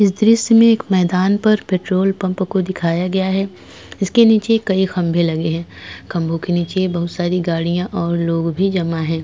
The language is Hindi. इस दृश्य में एक मैदान पर पेट्रोल पंप को दिखाया गया है इसके नीचे कई खंभे लगे हैं खंभों के नीचे बहुत सारी गाड़ियां और लोग भी जमा है।